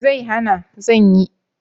Me zai hana! zan yi.